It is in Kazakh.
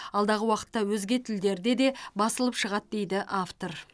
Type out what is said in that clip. алдағы уақытта өзге тілдерде де басылып шығады дейді автор